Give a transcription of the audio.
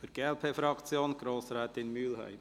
Für die glp-Fraktion: Grossrätin Mühlheim.